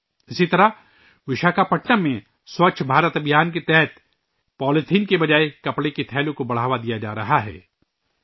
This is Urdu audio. اسی طرح وشاکھاپٹنم میں ' سووچھ بھارت ابھیان ' کے تحت پولی تھین کے بجائے کپڑے کے تھیلوں کے استعمال کو بڑھاوا دیا جا رہا ہے